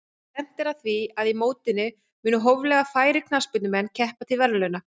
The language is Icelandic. Stefnt er að því að í mótinu muni hóflega færir knattspyrnumenn keppa til verðlauna.